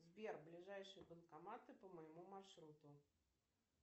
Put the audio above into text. сбер ближайшие банкоматы по моему маршруту